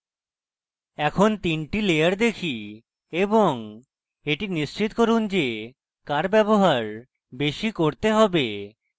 এখন তিনটি লেয়ার দেখি এবং এটি নিশ্চিত করুন যে কার ব্যবহার বেশী করতে হবে